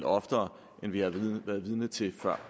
oftere end vi har været vidne til før